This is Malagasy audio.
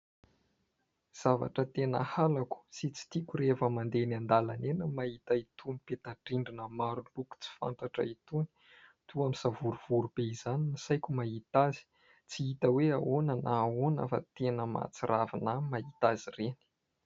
Zavatra tena halako sy tsy tiako rehefa mandeha eny an-dalana eny ny mahita itony peta-drindrina maro loko tsy fantatra itony. Toa misavorovoro be izany ny saiko rehefa mahita azy, tsy hita hoe ahoana na ahoana fa tena mahatsiravina ahy ny mahita azy ireny.